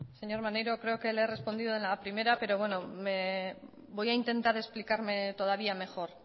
señor maneiro creo que le he respondido en la primera pero bueno me voy a intentar explicar todavía mejor